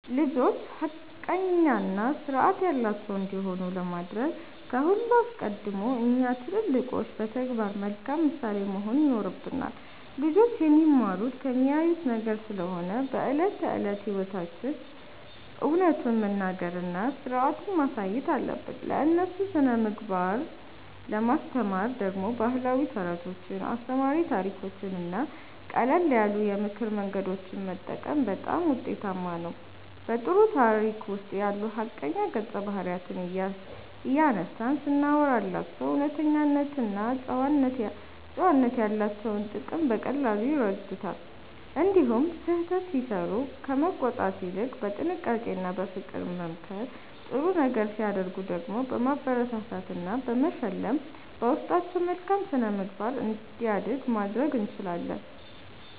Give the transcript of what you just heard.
ልጆች ሐቀኛና ሥርዓት ያላቸው እንዲሆኑ ለማድረግ ከሁሉ አስቀድሞ እኛ ትልልቆቹ በተግባር መልካም ምሳሌ መሆን ይኖርብናል። ልጆች የሚማሩት ከሚያዩት ነገር ስለሆነ በዕለት ተዕለት ሕይወታችን እውነቱን መናገርና ሥርዓትን ማሳየት አለብን። ለእነሱ ሥነ-ምግባርን ለማስተማር ደግሞ ባህላዊ ተረቶችን፣ አስተማሪ ታሪኮችንና ቀለል ያሉ የምክር መንገዶችን መጠቀም በጣም ውጤታማ ነው። በጥሩ ታሪክ ውስጥ ያሉ ሐቀኛ ገጸ-ባህሪያትን እያነሳን ስናወራላቸው እውነተኝነትና ጨዋነት ያላቸውን ጥቅም በቀላሉ ይረዱታል። እንዲሁም ስህተት ሲሠሩ ከመቆጣት ይልቅ በጥንቃቄና በፍቅር በመምከር፣ ጥሩ ነገር ሲያደርጉ ደግሞ በማበረታታትና በመሸለም በውስጣቸው መልካም ሥነ-ምግባር እንዲያድግ ማድረግ እንችላለን።